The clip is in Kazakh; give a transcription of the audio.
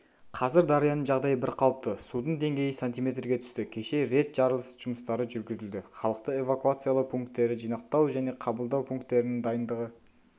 қазір дарияның жағдайы бірқалыпты судың деңгейі сантиметрге түсті кеше рет жарылыс жұмыстары жүргізілді халықты эвакуациялау пункттері жинақтау және қабылдау пункттерінің дайындығы